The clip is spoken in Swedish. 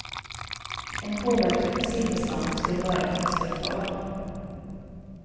En påverkan på sillbeståndet skulle vara katastrofal.